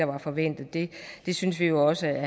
var forventet vi synes jo også at